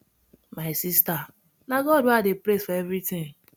my sister na god wey i dey praise for everything